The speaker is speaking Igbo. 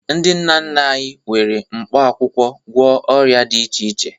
Ndị nna nna anyị were mkpaakwụkwọ gwọọ ọrịa dị iche iche